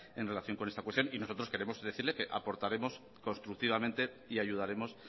en relación con esta cuestión y nosotros queremos decirle que aportaremos constructivamente y ayudaremos